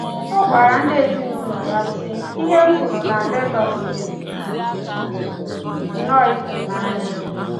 Ọ gwara ezinụụlọ ya sị: “Ihe m hụrụ na Legos dị nnọọ ịtụnanya.